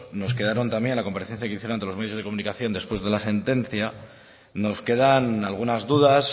nos quedamos también en la comparecencia que hicieron ante los medios de comunicación después de la sentencia nos quedan algunas dudas